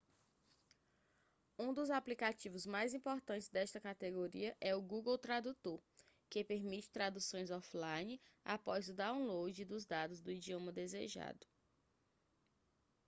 um dos aplicativos mais importantes desta categoria é o google tradutor que permite traduções off-line após o download dos dados do idioma desejado